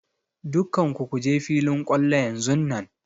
Dukkan ku kuje filin kwallo yanzunnan!